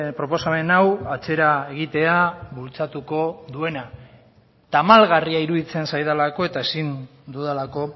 proposamen hau atzera egitea bultzatuko duena tamalgarria iruditzen zaidalako eta ezin dudalako